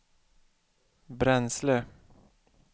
bränsle